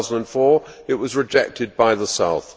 2004. It was rejected by the South.